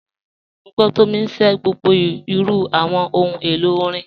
Mọ̀ gbọ́ Tomì ṣẹ̀ gbogbo irù awọn ọ̀hun èlo orin.